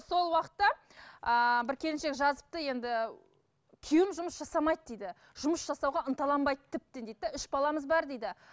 сол уақытта ыыы бір келіншек жазыпты енді күйеуім жұмыс жасамайды дейді жұмыс жасауға ынталанбайды тіптен дейді де үш баламыз бар дейді